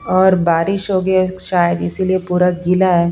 और बारिश हो गई है शायद इसीलिए पूरा गीला है।